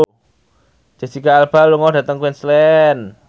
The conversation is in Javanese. Jesicca Alba lunga dhateng Queensland